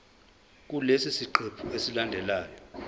kulesi siqephu esilandelayo